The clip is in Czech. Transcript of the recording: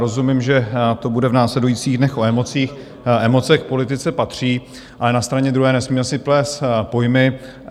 Rozumím, že to bude v následujících dnech o emocích, emoce k politice patří, ale na straně druhé nesmíme si plést pojmy.